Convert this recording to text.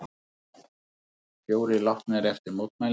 Fjórir látnir eftir mótmæli